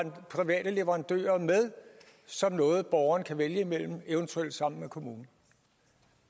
have private leverandører med som noget borgeren kan vælge imellem eventuelt sammen med kommunen